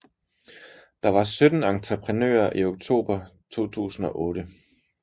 Der var 17 entreprenører i oktober 2008